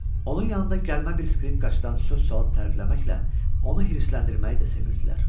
Onun yanında gəlmə bir skripkaçıdan söz salıb tərifləməklə onu hirsləndirməyi də sevirdilər.